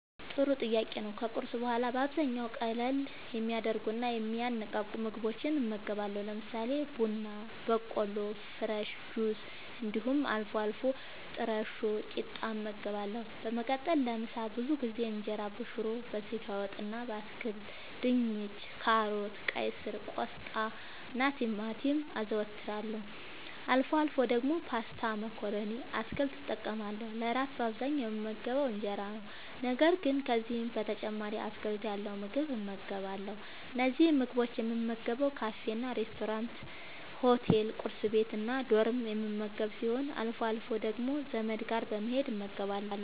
ጥሩ ጥያቄ ነዉ ከቁርስ በኋላ በአብዛኛዉ ቀለል የሚያደርጉና የሚያነቃቁ ምግቦችን እመገባለሁ። ለምሳሌ፦ ቡና በቆሎ፣ ፍረሽ ጁሶች እንዲሁም አልፎ አልፎ ጥረሾ ቂጣ እመገባለሁ። በመቀጠልም ለምሳ ብዙ ጊዜ እንጀራበሽሮ፣ በስጋ ወጥ እና በአትክልት( ድንች፣ ካሮት፣ ቀይስር፣ ቆስጣናቲማቲም) አዘወትራለሁ። አልፎ አልፎ ደግሞ ፓስታ መኮረኒ እና አትክልት እጠቀማለሁ። ለእራት በአብዛኛዉ የምመገበዉ እንጀራ ነዉ። ነገር ግን ከዚህም በተጨማሪ አትክልት ያለዉ ምግብ እመገባለሁ። እነዚህን ምግቦች የምመገበዉ ካፌናሬስቶራንት፣ ሆቴል፣ ቁርስ ቤት፣ እና ዶርም የምመገብ ሲሆን አልፎ አልፎ ደግሞ ዘመድ ጋር በመሄድ እመገባለሁ።